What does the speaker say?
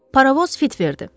Paravoz fit verdi.